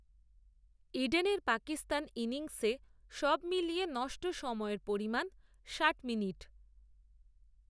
ইডেনের পাকিস্তান ইনিংসে সবমিলিয়ে নষ্ট সময়ের পরিমাণ, ষাট, মিনিট